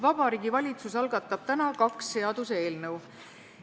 Vabariigi Valitsus algatab täna kaks seaduseelnõu.